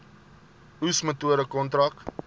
oes metode kontrak